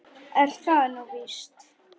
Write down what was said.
Er það nú víst ?